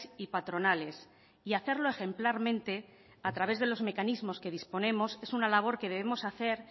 y patronales y hacerlo ejemplarmente a través de los mecanismos que disponemos es una labor que debemos hacer